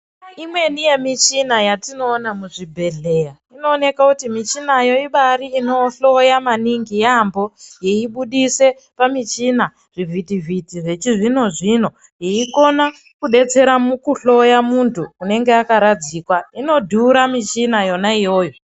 Imweni yemichina yatinoona muzvibhedhleya inooneka kuti michinayo ibari inohloya maningi yambo yeibudise pamuchina zvivhiti vhiti zvechizvino zvino yeikona kudetsera mukuhloya muntu unenge akaradzikwa inodhura michina yona iyoyo.